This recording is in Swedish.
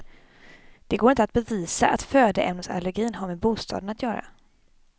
Det går inte att bevisa att födoämnesallergin har med bostaden att göra.